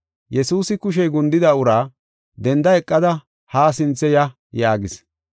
Yesuusi kushey gundida uraa, “Denda eqada haa sinthe ya” yaagis.